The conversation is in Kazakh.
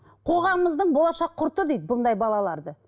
қоғамымыздың болашақ құрты дейді бұндай балаларды